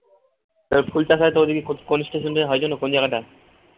তো ফুল চাষ হয় তো কোন station দিয়ে হয় যেন কোন জায়গাটায়